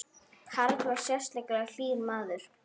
Karl var sérlega hlýr maður.